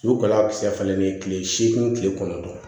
Sukaro a bɛ se ka falen ni tile seegin tile kɔnɔntɔn